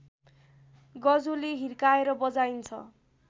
गजोले हिर्काएर बजाइन्छ